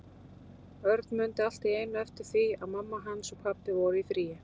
Örn mundi allt í einu eftir því að mamma hans og pabbi voru í fríi.